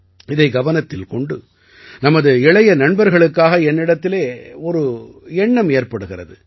இதை கவனத்தில் கொண்டு நமது இளைய நண்பர்களுக்காக என்னிடத்திலே ஒரு எண்ணம் ஏற்படுகிறது